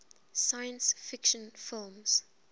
science fiction films